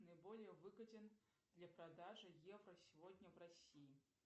наиболее выгоден для продажи евро сегодня в россии